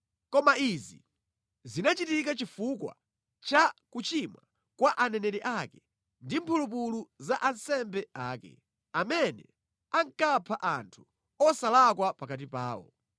Koma izi zinachitika chifukwa cha kuchimwa kwa aneneri ake ndi mphulupulu za ansembe ake, amene ankapha anthu osalakwa pakati pawo.